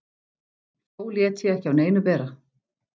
Þó lét ég ekki á neinu bera.